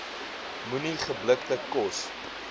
moenie geblikte kos